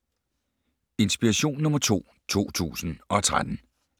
Inspiration nr. 2 2013